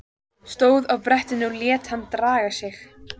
Stóð á brettinu og lét hann draga sig.